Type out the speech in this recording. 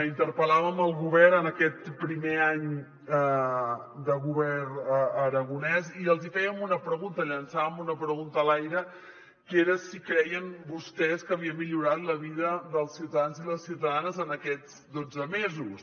interpel·làvem el govern en aquest primer any de govern aragonès i els hi fèiem una pregunta llançàvem una pregunta a l’aire que era si creien vostès que havia millorat la vida dels ciutadans i les ciutadanes en aquests dotze mesos